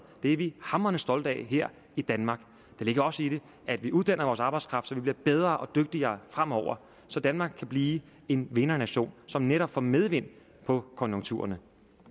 det er vi hamrende stolte af her i danmark der ligger også i det at vi uddanner vores arbejdskraft så vi bliver bedre og dygtigere fremover så danmark kan blive en vindernation som netop får medvind på konjunkturerne